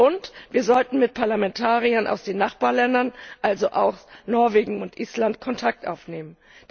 Und wir sollten mit Parlamentariern aus den Nachbarländern, also auch Norwegen und Island, Kontakt aufnehmen.